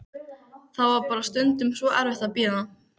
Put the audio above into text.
Það var bara stundum svo erfitt að bíða.